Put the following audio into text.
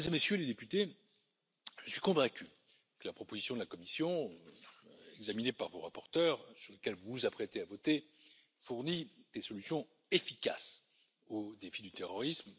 Mesdames et Messieurs les Députés, je suis convaincu que la proposition de la Commission, examinée par vos rapporteurs et sur laquelle vous vous apprêtez à voter, fournit des solutions efficaces au défi du terrorisme.